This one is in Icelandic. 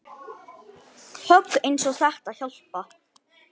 Högg eins og þetta hjálpa